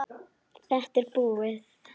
Þetta er búið.